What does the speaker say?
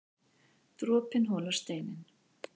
Dropinn holar steininn